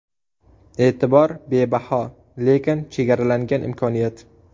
E’tibor bebaho, lekin chegaralangan imkoniyat.